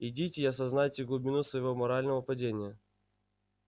идите и осознайте глубину своего морального падения